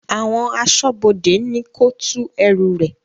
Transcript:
Àwọn asọ́bodè ni kò tù ẹ̀rù rẹ̀